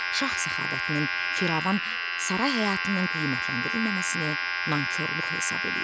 Şah səxavətinin firavan saray həyatının qiymətləndirilməməsini nankorluq hesab eləyir.